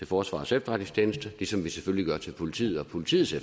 forsvarets efterretningstjeneste ligesom vi selvfølgelig gør til politiet og politiets